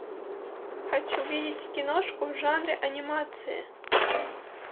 хочу видеть киношку в жанре анимация